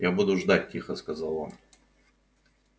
я буду ждать тихо сказал он